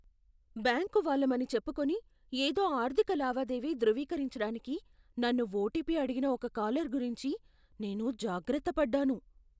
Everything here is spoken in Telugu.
బ్యాంకు వాళ్ళమని చెప్పుకొని, ఏదో ఆర్థిక లావాదేవీ ధృవీకరించడానికి నన్ను ఓటిపి అడిగిన ఒక కాలర్ గురించి నేను జాగ్రత్తపడ్డాను.